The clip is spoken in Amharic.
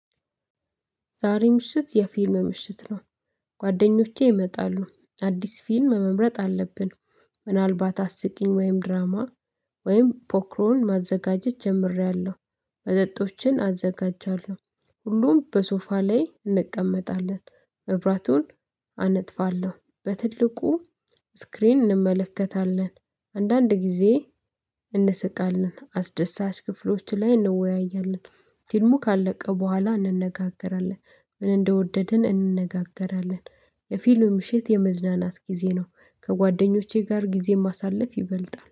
ዛሬ ምሽት የፊልም ምሽት ነው። ጓደኞቼ ይመጣሉ አዲስ ፊልም መምረጥ አለብን። ምናልባት አስቂኝ ወይም ድራማ ወይም ፖክሮን ማዘጋጀት ጀምሬያለሁ። ወደ መጠጦችን አዘጋጃለሁ። ሁሉም በሶፋ ላይ እንቀመጣለን። መብራቱን አነጥፋለሁ በትልቁ ስክሪን እንመለከታለን። አንዳንድ ጊዜ እንስቃለን አስደሳች ክፍሎች ላይ እንወያያለን ፊልሙ ካለቀ በኋላ እንነጋገራለን ምን እንደወደድን እንነጋገራለን። የፊልም ምሽት የመዝናናት ጊዜ ነው። ከጓደኞቼ ጋር ጊዜ ማሳለፍ ይበልጣል